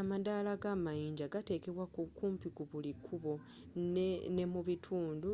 amadaala g'amayinja gatekebwa kumpi ku buli kkubo ne mu bitundu